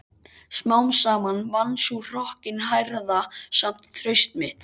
Smám saman vann sú hrokkinhærða samt traust mitt.